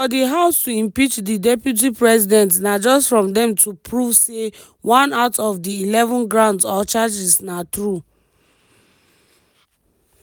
for di house to impeach di deputy president na just from dem to prove say one out of di eleven grounds or charges na true.